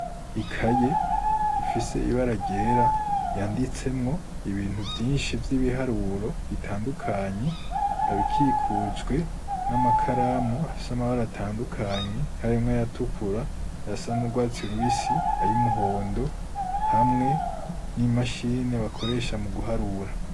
Ikaye ifise ibara ryera yanditsemwo ibintu vyinshi vy'ibiharuro bitandukanye, ikaba ikikujwe n'amakaramu afise amabara atandukanye, harimwo ayatukura, ayasa n'urwatsi rubisi, ay'umuhondo hamwe n'imashini bakoresha mu guharura.